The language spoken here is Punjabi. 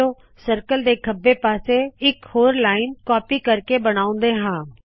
ਚਲੋ ਸਰਕਲ ਦੇ ਖੱਬੇ ਪਾਸੇ ਇਕ ਹੋਰ ਲਾਇਨ ਕਾਪੀ ਕਰਕੇ ਬਨਾਉਂਦੇ ਹਾ